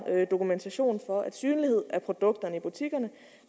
dokumentation for at synlighed af produkterne i butikkerne